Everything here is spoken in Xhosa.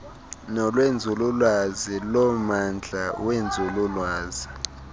nolwenzululwazi lommandla wenzululwazi